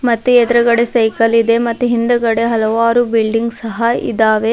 ಮತ್ತು ಎದ್ರುಗಡೆ ಸೈಕಲ್ ಇದೆ ಮತ್ತು ಹಿಂದ್ಗಡೆ ಹಲವಾರು ಬಿಲ್ಡಿಂಗ್ ಗಳಿದ್ದಾವೆ.